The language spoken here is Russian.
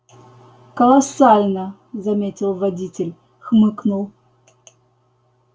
колоссально заметил водитель хмыкнул